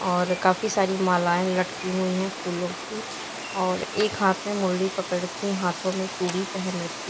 और काफी सारी मालाएं लटकी हुई हैं फूलों की और एक हाथ में मुरली पकड़ के हाथों में चूड़ी पहन रखी--